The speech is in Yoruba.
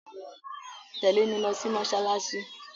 Tẹ̀lé mi lo sí mósálásí